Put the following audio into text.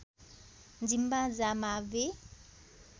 जिम्बा जा माब्वे